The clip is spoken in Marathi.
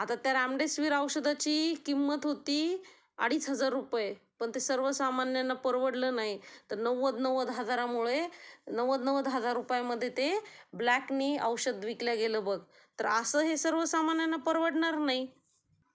आता त्या रामडेसिव्हीर औषधाची किंमत होती अडीच हजार रुपये पण ते सर्व सामान्यांना परवडलं नाही. नव्वंद नव्वंद हजारामुळे नव्वंद नव्वंद हजार रुपयामध्ये ते ब्लॅकनी औषधं विकल्या गेल बघ, तर असं हे सगळं सर्वसामान्यांना परवडनार नाही